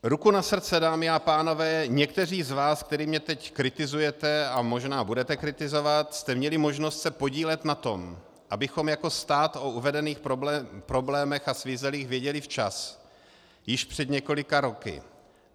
Ruku na srdce, dámy a pánové, někteří z vás, kteří mě teď kritizujete a možná budete kritizovat, jste měli možnost se podílet na tom, abychom jako stát o uvedených problémech a svízelích věděli včas, již před několika roky.